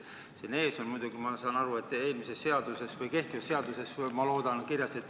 Siin ees on muidugi, ma saan aru, kehtivas seaduses kirjas, et seda ei või teha.